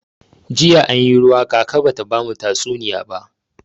Jiya anyi ruwa kaka bata bamu tatsuniya ba.